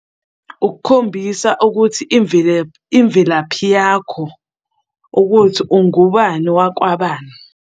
Ukukhombisa ukuthi imvelaphi yakho ukuthi ungubani wakwabani.